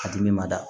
A dimi ma da